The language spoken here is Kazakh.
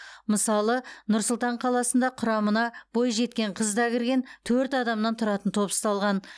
мысалы нұр сұлтан қаласында құрамына бойжеткен қыз да кірген төрт адамнан тұратын топ ұсталған